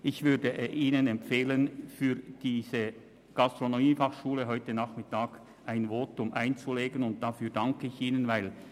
Ich würde dies übrigens auch sagen, wenn ich nicht in Thun wohnte.